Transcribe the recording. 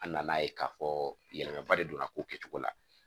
An nan'a ye k'a fɔ yɛlɛmaba de don a ko kɛcogo la